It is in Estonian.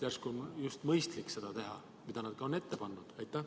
Järsku on just mõistlik teha seda, mida nad on ka ette pannud?